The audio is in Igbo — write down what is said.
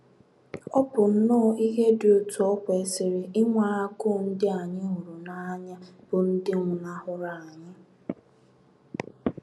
Ọ bụ nnọọ ihe dị otú o kwesịrị ịnwe agụụ ndị anyị hụrụ n’anya bụ́ ndị nwụnahụrụ anyị.